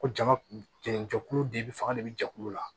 Ko jama jɛlen jɛkulu de bɛ fanga de bɛ jɛkulu la